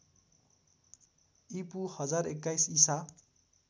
ईपू १०२१ ईसा